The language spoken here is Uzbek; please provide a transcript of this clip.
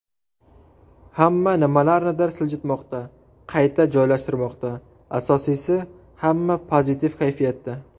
Hamma nimalarnidir siljitmoqda, qayta joylashtirmoqda, asosiysi hamma pozitiv kayfiyatda!